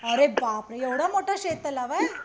अरे बापरे एवढ मोठं शेत तलाव आहे